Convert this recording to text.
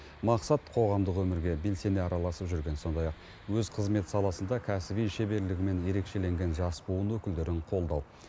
мақсат қоғамдық өмірге белсене араласып жүрген сондай ақ өз қызмет саласында кәсіби шеберлігімен ерекшеленген жас буын өкілдерін қолдау